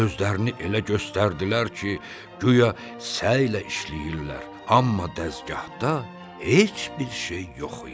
Özlərini elə göstərdilər ki, güya səy ilə işləyirlər, amma dəzgahda heç bir şey yox idi.